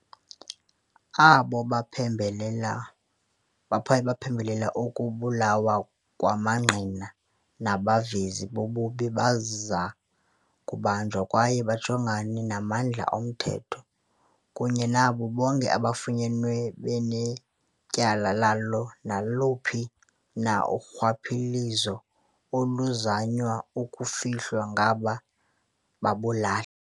Abo baphembelela baphembelela ukubulawa kwamangqina nabavezi bobubi baza kubanjwa kwaye bajongane namandla omthetho, kunye nabo bonke abo bafunyanwe benetyala lalo naluphi na urhwaphilizo oluzanywa ukufihlwa ngaba babulali.